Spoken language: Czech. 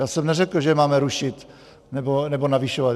Já jsem neřekl, že máme rušit nebo navyšovat.